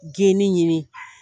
Geni ɲini